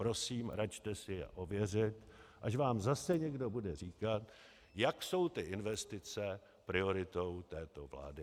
Prosím, račte si je ověřit, až vám zase někdo bude říkat, jak jsou ty investice prioritou této vlády.